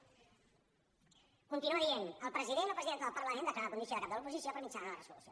continua dient el president o presidenta del parlament declara la condició de cap de l’oposició per mitjà d’una resolució